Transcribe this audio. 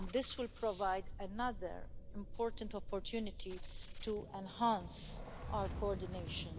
This will provide another important opportunity to enhance our coordination.